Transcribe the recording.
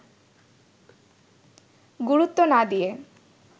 গুরুত্ব না দিয়ে